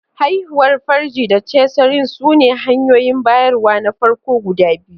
Haihuwar farji da cesarean sune hanyoyin bayarwa na farko guda biyu.